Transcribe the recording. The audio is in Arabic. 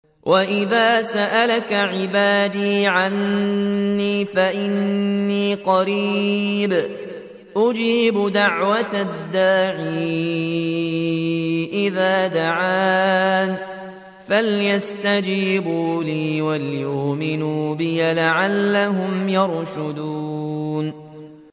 وَإِذَا سَأَلَكَ عِبَادِي عَنِّي فَإِنِّي قَرِيبٌ ۖ أُجِيبُ دَعْوَةَ الدَّاعِ إِذَا دَعَانِ ۖ فَلْيَسْتَجِيبُوا لِي وَلْيُؤْمِنُوا بِي لَعَلَّهُمْ يَرْشُدُونَ